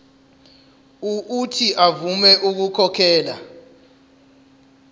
uuthi avume ukukhokhela